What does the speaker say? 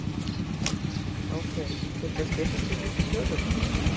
Ásgeir, fer ekki að styttast í fyrstu tölur?